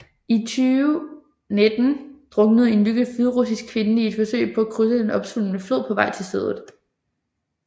I 2019 druknede en nygift hviderussisk kvinde i et forsøg på at krydse den opsvulmede flod på vej til stedet